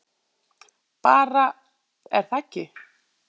Bara, er það ekki?